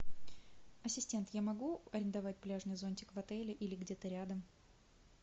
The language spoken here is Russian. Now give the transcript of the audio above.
ассистент я могу арендовать пляжный зонтик в отеле или где то рядом